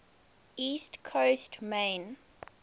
east coast maine